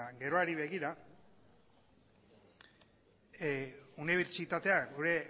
geroari begira unibertsitatea gure